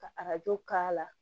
Ka arajo k'a la